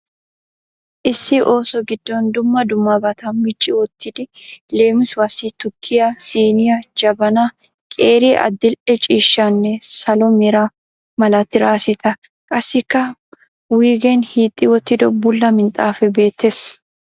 Issi so gidon dumma dummabaata micci wottidi leemisuwaasi tukkiya siiniya, jabanaa, qeeri adildhdhe ciishshanne salo mera mala traasetta qassikka wuygeen hiixxi wottido bulla minxxaafee beettees.